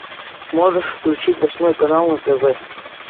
можешь включить восьмой канал на тв